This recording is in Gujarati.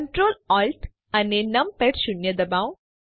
કન્ટ્રોલ Alt અને નમપૅડ શૂન્ય ડબાઓ